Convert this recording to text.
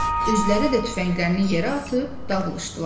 Özləri də tüfənglərini yerə atıb dağılışdılar.